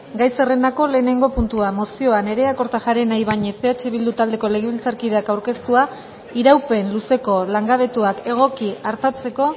gai zerrendako lehenengo puntua mozioa nerea kortajarena ibañez eh bildu taldeko legebiltzarkideak aurkeztua iraupen luzeko langabetuak egoki artatzeko